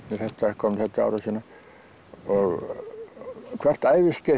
komnir þetta til ára sinna og hvert æviskeið